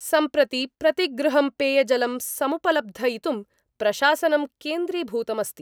सम्प्रति प्रतिगृहं पेयजलं समुपलब्धयितुं प्रशासनं क्रेन्द्रीभूतमस्ति।